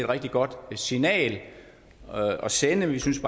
rigtig godt signal at sende vi synes